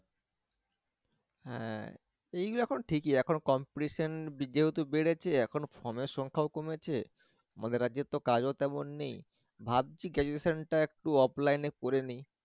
হ্যাঁ এইগুলো এখন ঠিকি এখন competition যেহেতু বেড়েছে এখন phone এর সংখাও কমেছে, আমদের রাজ্যের তো কাজও তেমন নেয় ভাবছি graduation টা একটু oflfine এ করে নেই